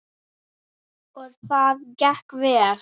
Og það gekk vel.